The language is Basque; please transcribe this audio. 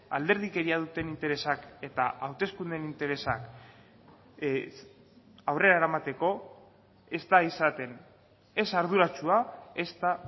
alderdikeria duten interesak eta hauteskundeen interesak aurrera eramateko ez da izaten ez arduratsua ezta